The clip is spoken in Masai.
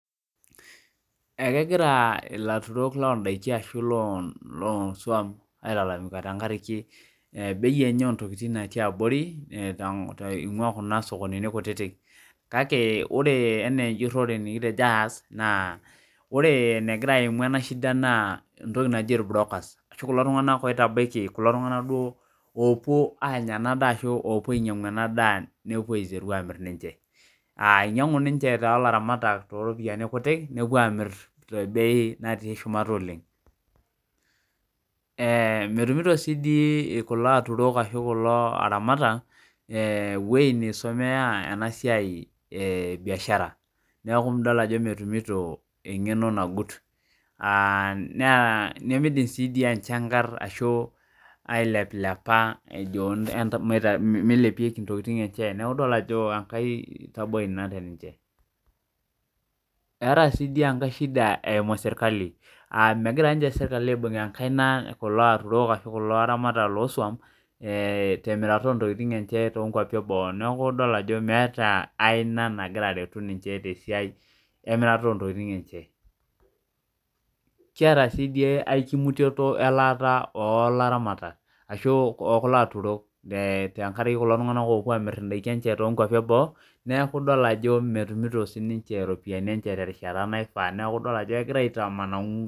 Ekegirra ilaturok loondaiki arashu loo suam ailalamika tenkaraki bei enye oo ntokitin nati abori eingua kuna sokonini kutitik kake ore ana enjurore nikitejo aas naa ore enegira aimu ena shida naa entoki naaji ilbrokas arashu kulo tunganak oitabaki kulo tunganaak duo opuo aanya ena daa ashu kulo opuo ainyangu enaa daa nepuo aiteru aamir ninche aa einyangu ninche to laramatak to ropiyiani kutik nepuo aamir tebei naati shumata oleng , metumito sii dii kulo aturot ashu kulo aramatak ewoji neisumia ena siai ee biashara neeku idol ajo metumito engeno nagut naa nemeidim sii duo enchangarr ashu aileplepa ejo meilepieki intokitin enche neeku idol ajo enkae taboi ina teninche , etaa sii di enkae shida eimu sirkali aa megira niche sirkali aibung enkaina kulo aturok ashu laramatak loo suam temirata oo ntokitin enchee tonkuapii eboo neeku idolita ajo meeta aina nagira aretu ninche tesiai emirata oo ntokitin enche kiata si duo aikimutuoto elaata oo laramatak ashuu oo kulo aturok tenkaraki kulo tunganak opuo amir indaiki enche toonkuapi eboo neeku idol ajo metumito sinche iropiyiani enye terishata naifaa neeku idol ajo kegira aitamana .